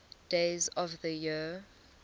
days of the year